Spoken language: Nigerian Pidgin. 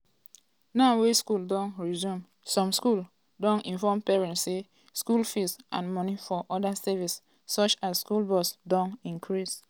now wey schools don resume some schools don inform parents say school fees and moni for oda services such as school bus don increase.